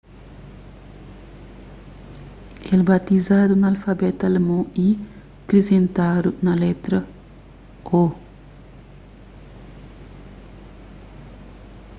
el baziadu na alfabetu alemon y krisentadu un letra õ/õ.